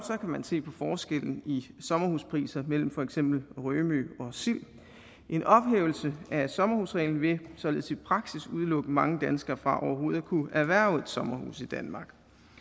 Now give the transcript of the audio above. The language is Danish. man se på forskellen i sommerhuspriser mellem for eksempel rømø og sild en ophævelse af sommerhusreglen vil således i praksis udelukke mange danskere fra overhovedet at kunne erhverve et sommerhus i danmark